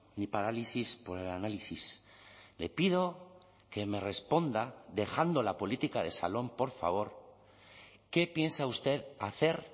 ni parálisis por el análisis le pido que me responda dejando la política de salón por favor qué piensa usted hacer